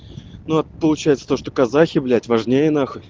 но получается то что казахи блять важнее нахуй